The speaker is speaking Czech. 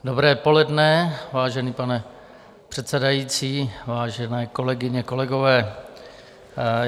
Dobré poledne, vážený pane předsedající, vážené kolegyně, kolegové.